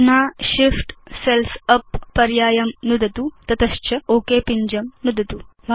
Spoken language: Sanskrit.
अधुना Shift सेल्स् उप् पर्यायं नुदतु तत च ओक पिञ्जं नुदतु